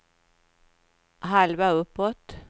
halva uppåt